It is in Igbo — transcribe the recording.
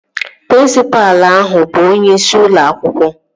Prịnsịpalụ ahụ bụ onyeisi ụlọ akwụkwọ